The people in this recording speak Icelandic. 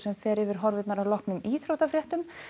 fer yfir horfurnar að loknum íþróttafréttum